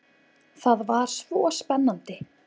Það var svo spennandi.